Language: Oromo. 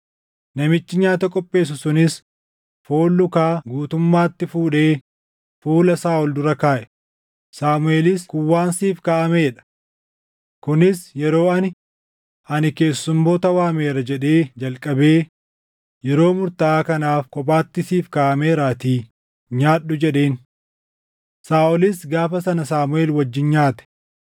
Namichi nyaata qopheessu sunis foon lukaa guutummaatti fuudhee fuula Saaʼol dura kaaʼe. Saamuʼeelis, “Kun waan siif kaaʼamee dha. Kunis yeroo ani, ‘Ani keessummoota waameera’ jedhee jalqabee yeroo murtaaʼaa kanaaf kophaatti siif kaaʼameeraatii nyaadhu” jedheen. Saaʼolis gaafa sana Saamuʼeel wajjin nyaate.